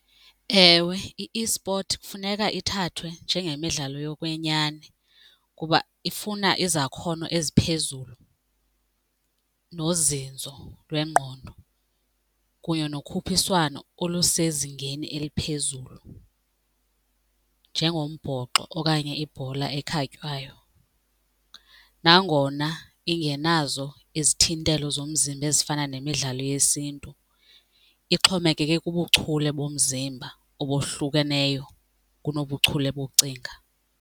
Ewe, i-esport kufuneka ithathwe njengemidlalo yokwenyani kuba ifuna izakhono eziphezulu nozinzo lwengqondo kunye nokhuphiswano olusezingeni eliphezulu njengombhoxo okanye ibhola ekhatywayo. Nangona ingenazo izithintelo zomzimba ezifana nemidlalo yesiNtu ixhomekeke kubuchule bomzimba obohlukeneyo kunobuchule bokucinga.